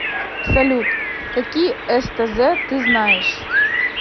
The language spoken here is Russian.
салют какие стз ты знаешь